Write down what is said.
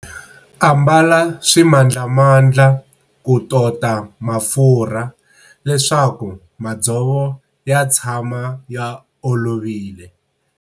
Ambala swimandlamandla ku tota mafurha leswaku madzovo ya tshama ya olovile.